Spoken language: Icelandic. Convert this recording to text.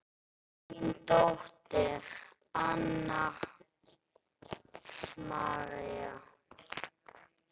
Þín dóttir, Anna María.